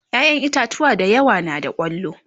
ƴaƴan itatauwa da yawa na da kwallo